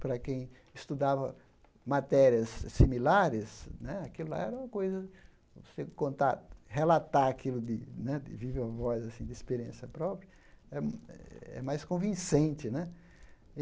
Para quem estudava matérias similares né, aquilo lá era uma coisa... Você contar, relatar aquilo de né viva-voz assim, de experiência própria, é mais convincente né.